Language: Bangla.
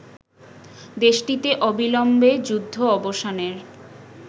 দেশটিতে অবিলম্বে যুদ্ধ অবসানের